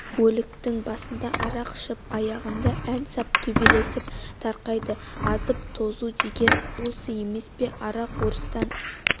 өліктің басында арақ ішіп аяғында ән сап төбелесіп тарқайды азып-тозу деген осы емес пе арақ орыстан